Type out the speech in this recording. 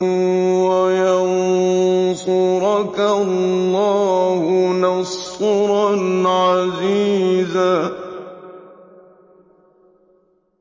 وَيَنصُرَكَ اللَّهُ نَصْرًا عَزِيزًا